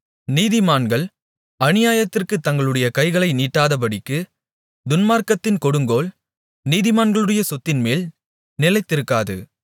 நீதிமான்கள் அநியாயத்திற்குத் தங்களுடைய கைகளை நீட்டாதபடிக்கு துன்மார்க்கத்தின் கொடுங்கோல் நீதிமான்களுடைய சொத்தின்மேல் நிலைத்திருக்காது